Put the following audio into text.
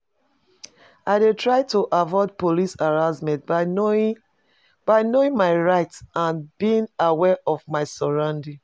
i dey try to avoid police harassment by knowing by knowing my rights and being aware of my surroundings.